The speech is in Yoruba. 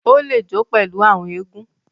O le jo pèlú àwọn egun.